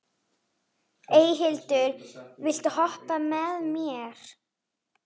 Eyhildur, viltu hoppa með mér?